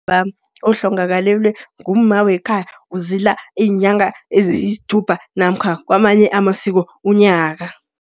Ubaba ohlongakalelwe ngumma wekhaya, uzila iinyanga eziyisthupha namkha kwamanye amasiko unyaka.